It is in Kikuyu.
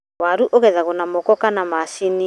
Waru ũgethagwo na moko kana macini.